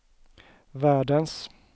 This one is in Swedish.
världens